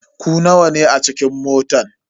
Ku nawa ne a cikin motan.